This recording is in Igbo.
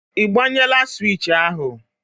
Ị gbanyela swishì ahụ?